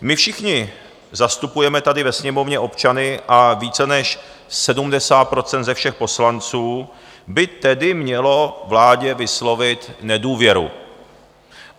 My všichni zastupujeme tady ve Sněmovně občany a více než 70 % ze všech poslanců by tedy mělo vládě vyslovit nedůvěru.